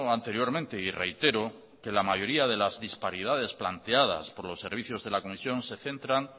anteriormente y reitero que la mayoría de las disparidades planteadas por los servicios de la comisión se centran